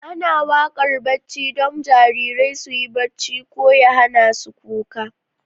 Ana waƙar barci don jarirai su yi barci ko ya hana su kuka.